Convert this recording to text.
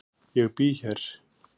Ég bý hér.